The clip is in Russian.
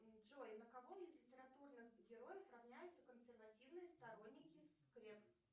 джой на кого из литературных героев равняются консервативные сторонники скреп